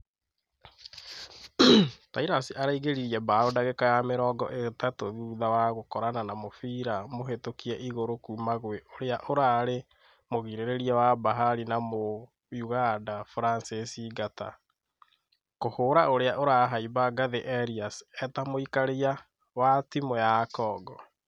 Tirus araĩngeririe bao dagĩka ya mĩrongo ĩtatũ thutha wa gũkorana na mũfira mũhĩtokie igũrũ kuma gwe ũrĩa ũrarĩ mũgirereria wa bahari na mũ uganda francis ngata , kũhũra ũria ũrahaimba ngathi elias e ta mũikaria wa timũ ya congo.